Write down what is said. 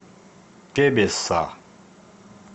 тебесса